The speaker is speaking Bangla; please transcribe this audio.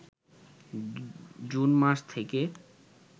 জুন মাস থেকে